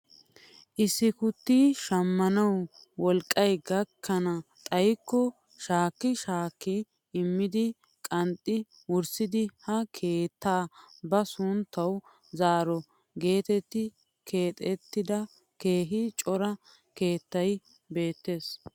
issi gutti shammanawu wolqqay gakkenan xayikko shaakki shaakki immiidi qanxxi wurssidi ha keettaa ba sunttawu zaaro getetti keexettida keehi cora keettay beettes!